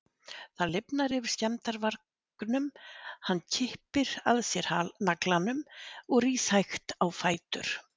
Það lifnar yfir skemmdarvargnum, hann kippir að sér naglanum og rís hægt á fætur.